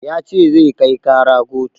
Ya ce zai kai ƙara kotu